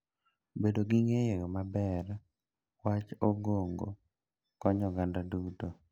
Bedo ni ong'eyo maber wach ongogo konyo oganda duto.